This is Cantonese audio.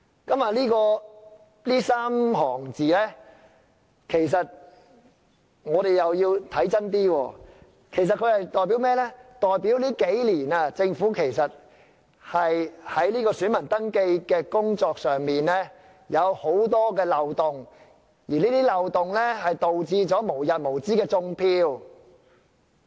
對於這3行字，我們要看清楚一點，其實這裏所說的代表在這數年，政府在選民登記工作上有很多漏洞，而這些漏洞導致"種票"無日無之。